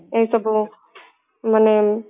ଏ ସବୁ ମାନେ